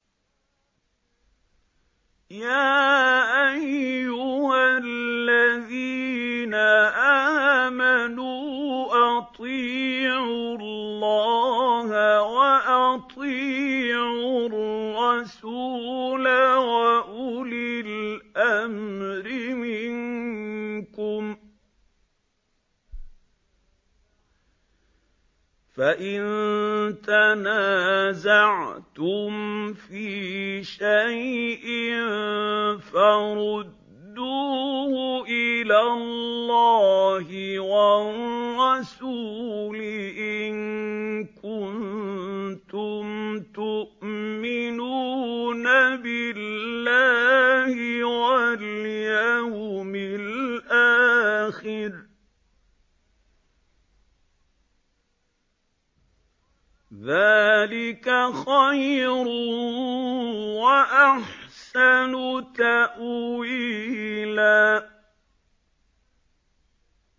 يَا أَيُّهَا الَّذِينَ آمَنُوا أَطِيعُوا اللَّهَ وَأَطِيعُوا الرَّسُولَ وَأُولِي الْأَمْرِ مِنكُمْ ۖ فَإِن تَنَازَعْتُمْ فِي شَيْءٍ فَرُدُّوهُ إِلَى اللَّهِ وَالرَّسُولِ إِن كُنتُمْ تُؤْمِنُونَ بِاللَّهِ وَالْيَوْمِ الْآخِرِ ۚ ذَٰلِكَ خَيْرٌ وَأَحْسَنُ تَأْوِيلًا